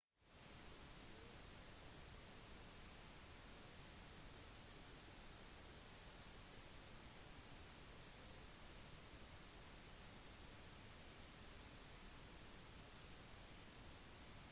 det gjør at elever får mulighet til å arbeide i sitt eget tempo og styre tempoet på instruksjonsinformasjonen